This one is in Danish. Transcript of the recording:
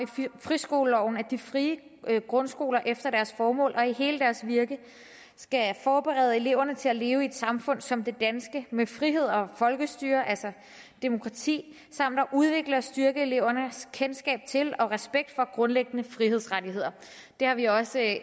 friskoleloven at de frie grundskoler efter deres formål og i hele deres virke skal forberede eleverne til at leve i et samfund som det danske med frihed og folkestyre altså demokrati samt at udvikle og styrke elevernes kendskab til og respekt for grundlæggende frihedsrettigheder det har vi også